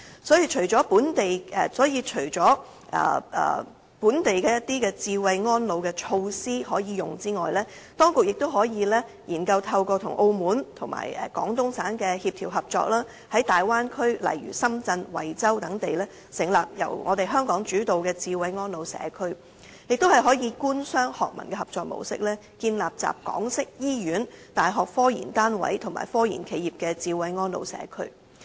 所以，除了本地的智慧安老措施可用外，當局亦可以研究透過與澳門及廣東省的協調合作，在大灣區例如深圳、惠州等地成立由香港主導的"智慧安老社區"，亦可以官、商、學、民的合作模式，建立集港式醫院、大學科研單位及科研企業的"智慧安老社區"。